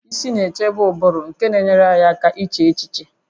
Isi na-echebe ụbụrụ nke na-enyere anyị aka iche echiche